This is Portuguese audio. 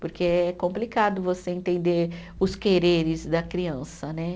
Porque é complicado você entender os quereres da criança, né?